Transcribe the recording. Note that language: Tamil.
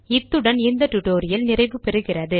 இத்துடன் இந்த டுடோரியல் நிறைவு பெறுகிறது